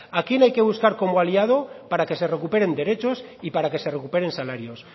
a quién hay que buscar como aliado para que se recuperen derechos y para que se recuperen salarios